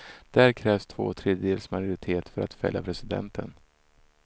Där krävs två tredjedels majoritet för att fälla presidenten.